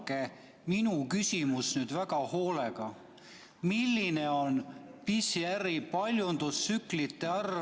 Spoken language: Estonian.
Kuulake minu küsimust nüüd väga hoolega: milline on PCR-testide paljundustsüklite arv Eestis?